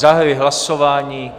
Zahajuji hlasování.